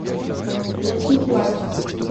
включи плач